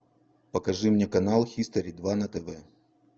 покажи мне канал хистори два на тв